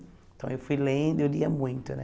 Então, eu fui lendo e eu lia muito, né?